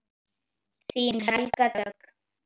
Þín Helga Dögg.